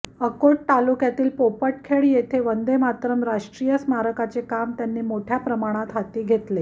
अकोट तालुक्यातील पोपटखेड येथे वंदेमातरम् राष्ट्रीय स्मारकाचे काम त्यांनी मोठ्या प्रमाणात हाती घेतले